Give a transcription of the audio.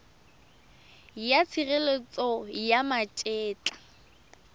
ya tshireletso ya ma etla